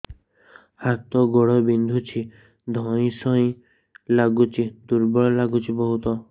ହାତ ଗୋଡ ବିନ୍ଧୁଛି ଧଇଁସଇଁ ଲାଗୁଚି ଦୁର୍ବଳ ଲାଗୁଚି ବହୁତ